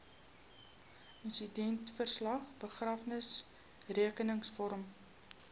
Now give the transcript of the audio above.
insidentverslag begrafnisrekenings vorm